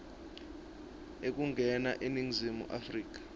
ekungena eningizimu afrika